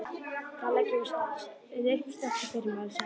Þá leggjum við upp strax í fyrramálið, sagði Ari.